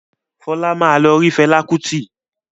Fọlá máa lọ rí Fẹlá Kútì.